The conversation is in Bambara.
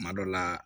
Kuma dɔ la